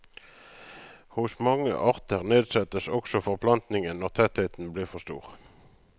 Hos mange arter nedsettes også forplantningen når tettheten blir for stor.